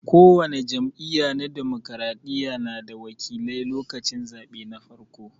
Ko wani jam'iyya na dimokiraɗiya na da wakilai lokacin zaɓe na farko.